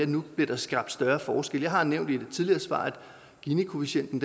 nu bliver skabt større forskelle jeg har nævnt i et tidligere svar at ginikoefficienten